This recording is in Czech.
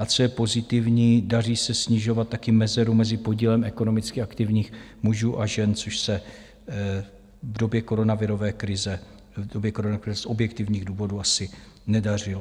A co je pozitivní, daří se snižovat taky mezeru mezi podílem ekonomicky aktivních mužů a žen, což se v době koronavirové krize z objektivních důvodů asi nedařilo.